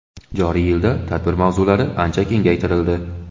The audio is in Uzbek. Joriy yilda tadbir mavzulari ancha kengaytirildi.